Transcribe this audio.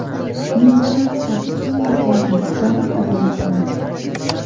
Men shaxsan hamma o‘yindan zavq olayapman.